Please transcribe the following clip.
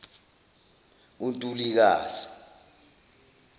untulikazi